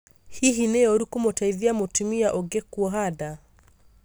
Hihi nĩ ũru kũmũteithia mũtumia ũngĩ kũoha nda?